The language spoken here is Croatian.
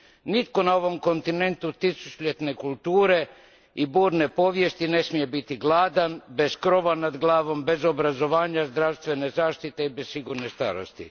Nitko na ovom kontinentu tisućljetne kulture i burne povijesti ne smije biti gladan, bez krova nad glavom, bez obrazovanja, zdravstvene zaštite i bez sigurne starosti.